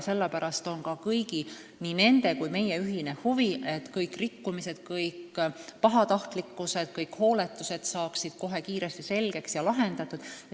Sellepärast on ka kõigi – nii nende kui ka meie – ühine huvi, et rikkumised, pahatahtlikkus või ka hooletus saaks kohe kiiresti selgeks ja lahendatud.